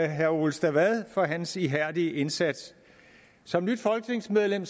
herre ole stavad for hans ihærdige indsats som nyt folketingsmedlem